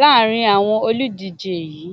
láàrin àwọn olùdíje yìí